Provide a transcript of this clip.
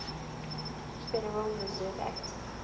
federal reserve act